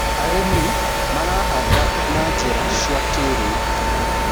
arĩmi marahanda na njira cia kĩiriu